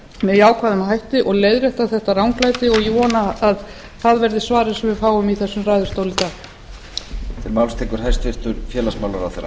með jákvæðum hætti og leiðrétta þetta ranglæti og ég vona að það verði svarið sem við fáum í þessum ræðustóli í dag